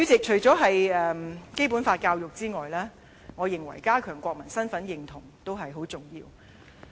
除了《基本法》教育之外，我認為加強國民身份認同也很重要。